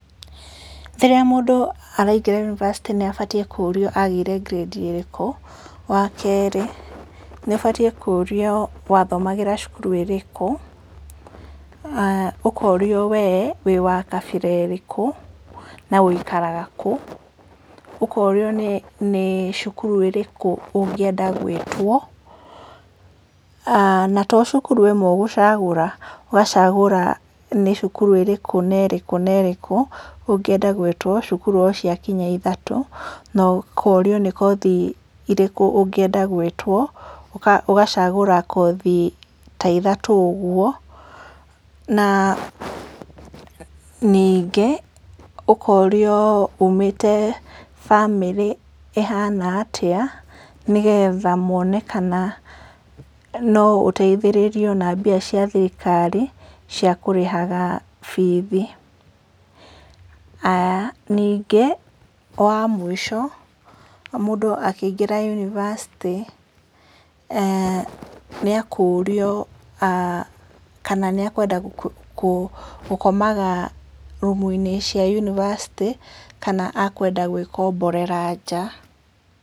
Rĩrĩa mũndũ araingĩra University nĩ abatiĩ kũrio agĩire ngirĩndi ĩrĩkũ, wa kerĩ nĩ abatiĩ kũrio wathomagĩra cukuru ĩrĩkũ, ũkorio we wĩwa kabira ĩrĩkũ na wũikaraga kũ, ũkorio nĩ cukuru ĩrĩkũ ũngĩenda gwĩtwo, na to cukuru ĩmwe ũgũcagũra, ũgacagũra nĩ cukuru ĩrĩkũ na ĩrĩkũ ũngĩenda gwĩtwo, cukuru o cia kinya ithatũ , na ũkorio nĩ kothi irĩkũ ũngĩenda gwĩtwo, ũgacagũra kothi ta ithatũ ũguo, na ningĩ ũkorio, ũmĩte bamĩrĩ ĩhana atĩa, nĩgetha mone kana no ũteithĩrĩrio na mbia cia thirikari cia kũrĩhaga bithi, haya nĩngĩ wa mũico mũndũ akĩingĩra university nĩekũrio kana nĩekwenda gũkomaga rumu-inĩ cia University kana ekwenda gwĩkomborera nja.